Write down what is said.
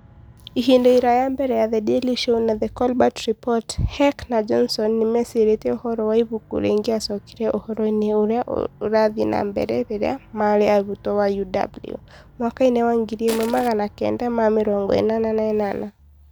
Ihinda iraya mbere ya The Daily Show na The Colbert Report, Heck na Johnson nĩ meecirĩtie ũhoro wa ibuku rĩngĩacokire ũhoro-inĩ ũrĩa ũrathiĩ na mbere rĩrĩa maarĩ arutwo a UW mwaka wa ngiri imwe magana kenda ma mĩrongo inana na inana